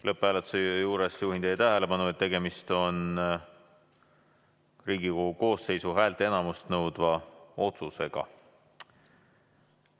Lõpphääletuse juures juhin teie tähelepanu, et tegemist on Riigikogu koosseisu häälteenamust nõudva otsusega.